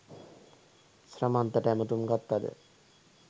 ශ්‍රමන්තට ඇමතුම් ගත්තද